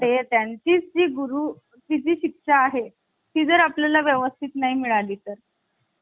जी आपली राज्यघटना आहे तो आपली राज्यघटना नसून भारत सरकारचा कायदा एकोणविशे पस्तीस आहे. यानंतर लोकनाथ निषु यांनी काय म्हटलेल आहे पश्चिमेला पण गुलाबी शरणागती